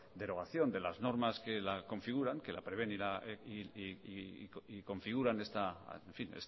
derogación de las normas que la configuran que la prevén y configuran